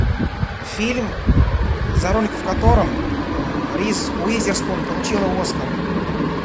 фильм за роль в котором риз уизерспун получила оскар